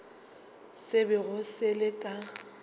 se bego se le ka